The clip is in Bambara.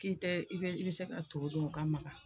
K'i tɛ i bɛ i bɛ se ka to dun o ka magan